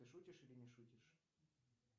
ты шутишь или не шутишь